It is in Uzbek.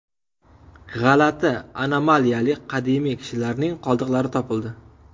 G‘alati anomaliyali qadimiy kishilarning qoldiqlari topildi.